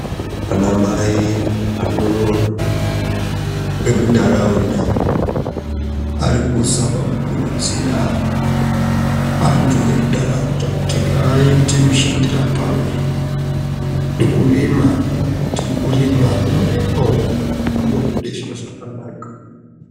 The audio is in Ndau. Anamai emuntaraunda arikuzama kukurudzira antu emuntaraunda kuti ngaaite mushandira pamwe nekurima kuti mukurimwa umwo munobuda zviro zvakanaka.